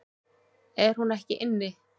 Er hún ekki inni?